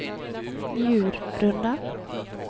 Njurunda